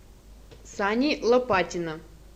сани лопатина